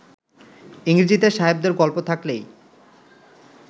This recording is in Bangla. ইংরেজীতে সাহেবদের গল্প থাকলেই